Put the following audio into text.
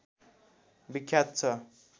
विख्यात छ